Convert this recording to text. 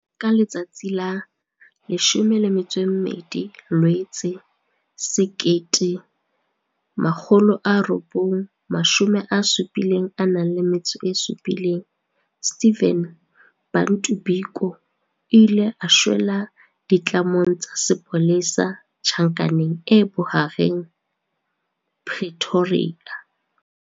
Ka letsatsi la 12 Loetse 1977, Stephen Bantu Biko o ile a shwela ditlamong tsa sepolesa Tjhankaneng e Bohareng ya Pretoria.